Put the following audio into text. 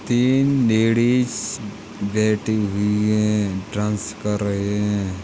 तीन लेडीज़ बैठी हुई हैं डांस कर रही है।